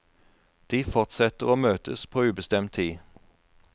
De fortsetter å møtes på ubestemt tid.